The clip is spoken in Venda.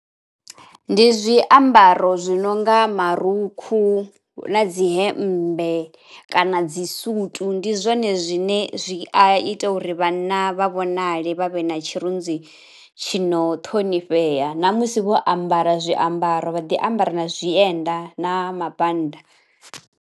Ndi zwiambaro zwi nonga marukhu na dzi hemmbe kana dzi sutu, ndi zwone zwine zwi a ita uri vhanna vha vhonale vha vhe na tshirunzi tshi no ṱhonifhea. Namusi vho ambara zwiambaro vha ḓi ambara na zwienda na mabannda.